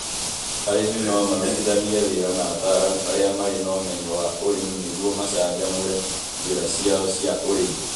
Arĩmi no marutithanie wĩra na ataaramu arĩa marĩ na ũmenyo wa ũrĩmi nĩguo macanjamũre njĩra ciao cia ũrĩmi.